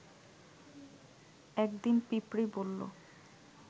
একদিন পিঁপড়ী বলল